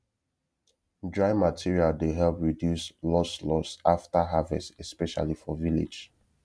dry material dey help reduce loss loss after harvest especially for village